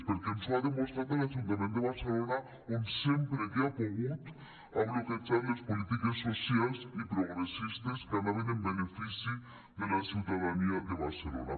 perquè ens ho ha demostrat a l’ajunta·ment de barcelona on sempre que ha pogut ha bloquejat les polítiques socials i pro·gressistes que anaven en benefici de la ciutadania de barcelona